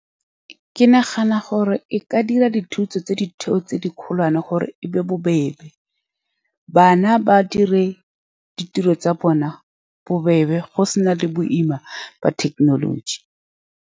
Ke nagana gore e ka dira dithuto tsa ditheo tse di kgolwane, gore e be bobebe bana ba dire ditiro tsa bona bobebe. Go se na le boima ba thekenoloji.